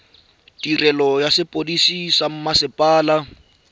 tirelo ya sepodisi sa mmasepala